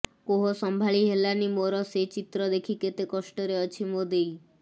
କୋହ ସମ୍ଭାଳି ହେଲାନି ମୋର ସେ ଚିତ୍ର ଦେଖି କେତେ କଷ୍ଟ ରେ ଅଛି ମୋ ଦେଇ